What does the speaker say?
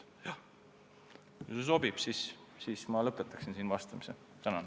Kui sobib, siis ma lõpetaksin vastamise sellega.